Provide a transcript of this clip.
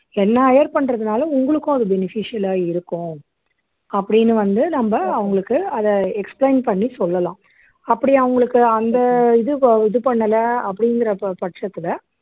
என்னை hire பண்றதுனால உங்களுக்கும் அது beneficial ஆ இருக்கும் அப்படின்னு வந்து நம்ம அவங்களுக்கு அதை explain பண்ணி சொல்லலாம் அப்படி அவங்களுக்கு அந்த இது அஹ் இது பண்ணல அப்படிங்கிற ப பட்சத்துல